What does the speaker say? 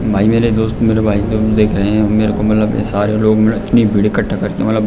भाई मेरे दोस्त मेरे भाई जो देख रहे हैं मेरे को मतलब ये सारे लोग इतनी भीड़ इक्कठा करके मतलब --